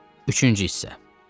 Üçüncü hissə.